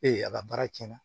Ee a ka baara cɛnna